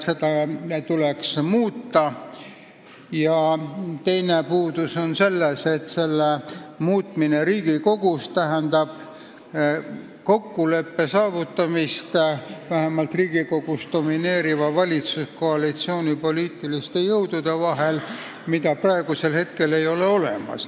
Seda tuleks aeg-ajalt muuta, aga selle muutmine Riigikogus tähendab kokkuleppe saavutamist vähemalt Riigikogus domineeriva valitsuskoalitsiooni poliitiliste jõudude vahel, mida praegu ei ole olemas.